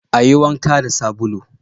Ayi wanka da sabulu